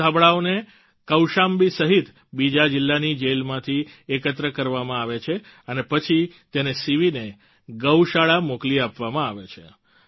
આ ધાબળાઓને કૌશામ્બી સહિત બીજા જિલ્લાની જેલમાંથી એકત્ર કરવામાં આવે છે અને પછી તેને સીવીને ગૌશાળા મોકલી આપવામાં આવે છે